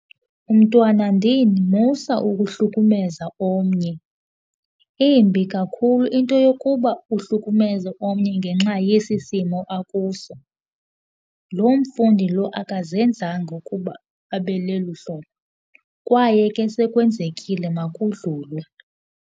Umntwanandini, musa uhlukumeza omnye, imbi kakhulu into yokuba uhlukumeze omnye ngenxa yesi simo akuso. Lo mfundi lo akazenzanga ngokuba abe lelu hlolo kwaye ke sekwenzekile makudlulwe.